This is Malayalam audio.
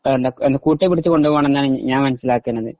കൂട്ടി പിടിച്ച് കൊണ്ടോവണം എന്നാണ് ഞാൻ മനസിലാക്കുന്നത്